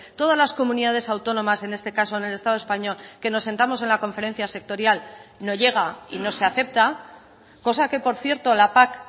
todas las comunidades autónomas en este caso en el estado español que nos sentamos en la conferencia sectorial no llega y no se acepta cosa que por cierto la pac